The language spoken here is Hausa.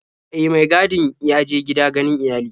E, mai gadin ya je gida ganin iyali.